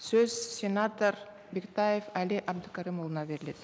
сөз сенатор бектаев әли әбдікәрімұлына беріледі